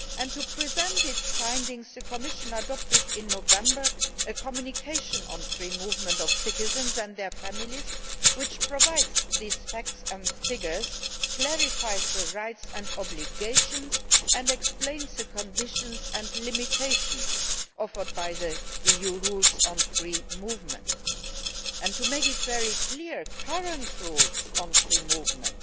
To present its findings, the Commission adopted in November a communication on the free movement of citizens and their families which provides facts and figures, clarifies the rights and obligations and explains the conditions and limitations offered by the EU rules on free movement. To make it very clear the current rules on free movement,